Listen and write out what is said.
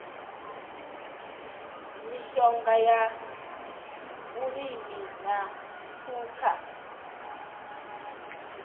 mishonga ya vhulimi na phukha